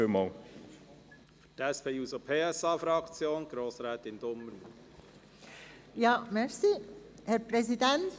Für die SP-JUSO-PSA-Fraktion hat Grossrätin Dumermuth das Wort.